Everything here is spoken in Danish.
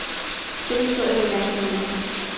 Den historie vil jeg gerne give videre.